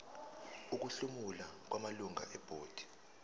ukuhlomula kwamalungu ebhodi